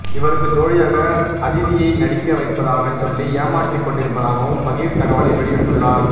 இவருக்கு ஜோடியாக அதிதியை நடிக்க வைப்பதாகச் சொல்லி ஏமாற்றிக்கொண்டிருப்பதாகவும் பகீர் தகவலை வெளியிட்டுள்ளார